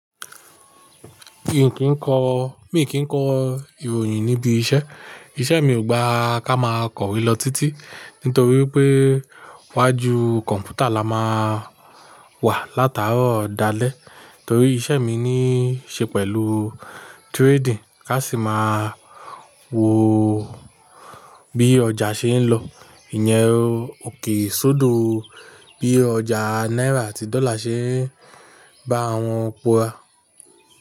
Mi kì í kọ ìròyìn níbi iṣẹ́. Iṣẹ́ mi ò gba ká máa kọ̀wé lọ títí, nítorí pé iwájú kọ̀m̀pútà là máà wà látàárọ̀ dalẹ́. Torí iṣẹ́ mi níí ṣe pẹ̀lú trading. Ká sì máa wo bí ọjà ṣe ń lọ. Ìyẹn òkè sodo bí ọjà náírà àti dọ́là ṣe bá àwọn pora.